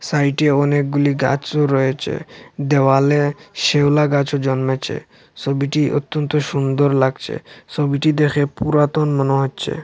সাইডে অনেকগুলি গাছও রয়েছে দেওয়ালে শ্যাওলা গাছও জন্মেছে ছবিটি অত্যন্ত সুন্দর লাগছে ছবিটি দেখে পুরাতন মনে হচ্ছে।